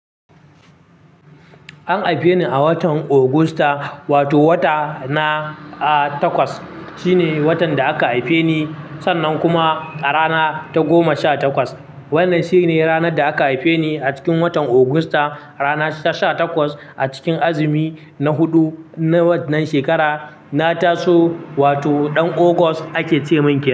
An haife ni a watan Augusta wato wata na, ah, takwas shine watan da aka haife ni. Sannan kuma a rana ta goma sha takwas. Wannan shine ranar da aka haife ni a cikin watan Augusta, rana ta sha takwas a cikin azumi na huɗu na wannan shekarar. Na taso wato ɗan August ake ce min kenan.